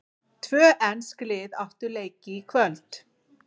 Tvö ensk lið áttu leiki í kvöld.